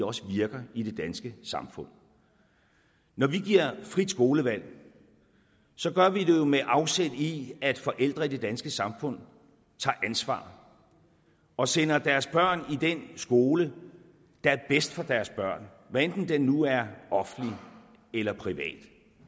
også virker i det danske samfund når vi giver frit skolevalg gør vi det jo med afsæt i at forældre i det danske samfund tager ansvar og sender deres børn i den skole der er bedst for deres børn hvad enten den nu er offentlig eller privat